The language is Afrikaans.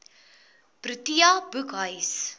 protea boekhuis